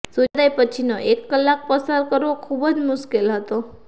સૂર્યોદય પછીનો એક કલાક પસાર કરવો ખૂબ જ મુશ્કેલ હતો